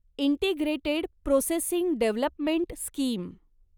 integrated processing development scheme